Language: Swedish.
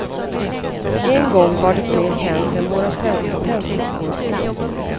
En gång var det mer känt än våra svenska tändstickor.